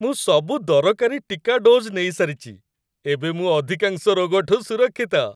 ମୁଁ ସବୁ ଦରକାରୀ ଟିକା ଡୋଜ୍ ନେଇସାରିଚି । ଏବେ ମୁଁ ଅଧିକାଂଶ ରୋଗଠୁ ସୁରକ୍ଷିତ ।